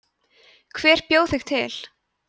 hver bjó þig til